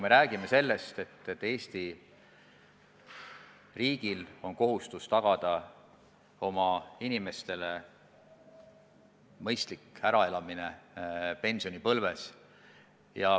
Eesti riigil on kohustus tagada oma inimestele mõistlik äraelamine pensionipõlves.